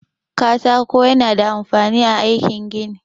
Katako ya na da amfani a aikin gini.